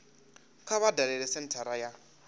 kha vha dalele senthara ya